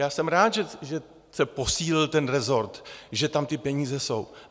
Já jsem rád, že se posílil ten resort, že tam ty peníze jsou.